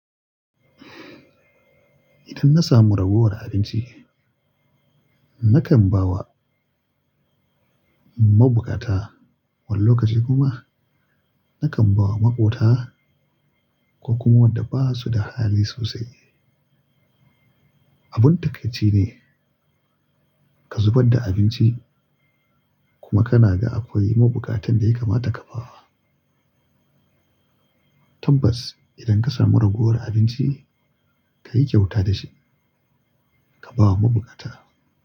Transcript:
Idan na samu ragowar abinci, nakan ba wa mabukata wani lokaci kuma nakan ba wa maƙota ko kuma waɗanda ba su da hali sosai. Abin takaici ne ka zubar da abinci kuma kana ga akwai mabukatan da ya kamata ka ba wa. Tambas idan ka samu ragowar abinci, ka yi kyauta da shi ka ba wa mabukata.